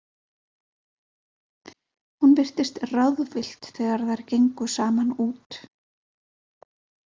Hún virtist ráðvillt þegar þær gengu saman út.